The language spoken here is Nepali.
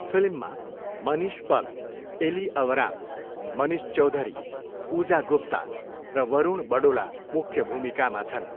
फिल्ममा मनिष पल, एली अवराम, मनिष चौधरी, पूजा गुप्ता र वरुण बडोला मुख्य भूमिकामा छन्।